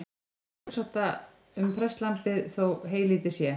Það er sjálfsagt um prestlambið þó heylítið sé.